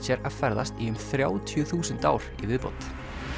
að ferðast í um þrjátíu þúsund ár í viðbót